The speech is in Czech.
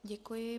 Děkuji.